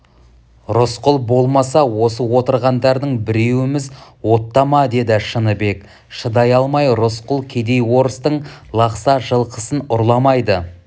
рысқұл болмаса осы отырғандардың біреуіміз оттама деді шыныбек шыдай алмай рысқұл кедей орыстың лақса жылқысын ұрламайды